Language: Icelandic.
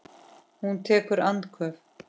Hún tekur andköf.